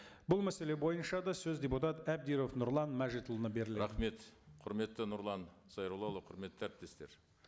бұл мәселе бойынша да сөз депутат әбдіров нұрлан мәжітұлына беріледі рахмет құрметті нұрлан зайроллаұлы құрметті әріптестер